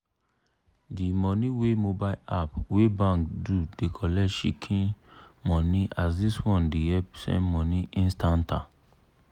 di money wey mobile app wey bank do dey collect shikin money as dis one dey help send money instanta.